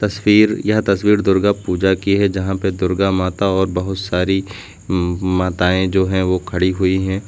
स्वीर यह तस्वीर दुर्गा पूजा की है जहां पे दुर्गा माता और बहुत सारी म माताएं जो हैं वो खड़ी हुई हैं।